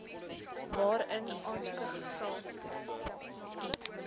waarin aansoeke gevra